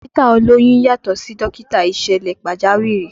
Dókítà olóyún yàtọ̀ sí dókítà ìṣẹ̀lẹ̀ pàjáwìrì